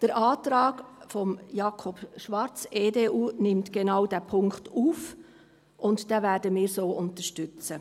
Der Antrag von Jakob Schwarz, EDU, nimmt genau diesen Punkt auf, und wir werden diesen so unterstützen.